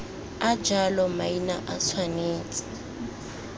a jalo maina a tshwanetse